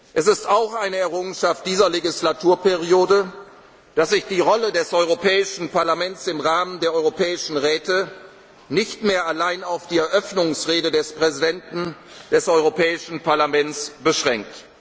Es ist auch eine Errungenschaft dieser Wahlperiode, dass sich die Rolle des Europäischen Parlaments im Rahmen der Europäischen Räte nicht mehr allein auf die Eröffnungsrede des Präsidenten des Europäischen Parlaments beschränkt.